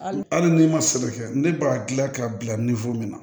Hali n'i ma sɛnɛ kɛ ne b'a gilan k'a bila min na